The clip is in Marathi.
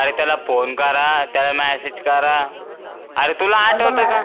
अरे त्याला फोन त्याला करा message करा अरे तुला आठवत का